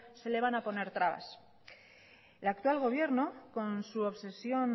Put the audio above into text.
se les van a poner trabas el actual gobierno con su obsesión